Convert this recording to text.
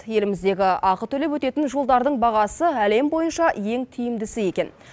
еліміздегі ақы төлеп өтетін жолдардың бағасы әлем бойынша ең тиімдісі екен